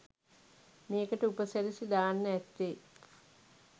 මේකට උප සිරැසි දාන්න ඇත්තේ